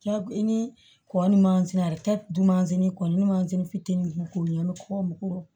Ja i ni kɔ ni dun mansin kɔni mansin fitinin in bɛ k'o ye kɔmɔ